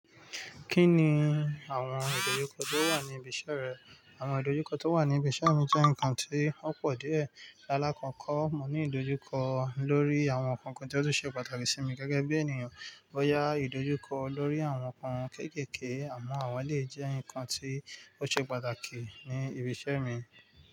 Kí ni àwọn ìdojúkọ tó wà ní ibi iṣẹ́ rẹ? Àwọn ìdojúkọ tó wà ní ibi iṣẹ́ mi jẹ́ nǹkan tí ó pọ̀ díẹ̀. Lálá kọ̀ko, mo ní ìdojúkọ lórí àwọn nkan kan tí ó tun ṣe pàtàkì sí mi gẹ́gẹ́ bí ènìyàn. Boyá ìdojúkọ lórí àwọn nǹkan kéékèèké àmọ́ àwọn elèyii jẹ́ ǹkan tí ó ṣe pàtàkì ní ibi iṣẹ́ mi.